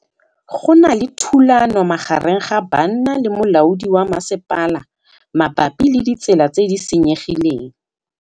Go na le thulanô magareng ga banna le molaodi wa masepala mabapi le ditsela tse di senyegileng.